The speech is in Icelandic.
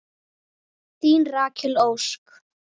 Þín Rakel Ósk.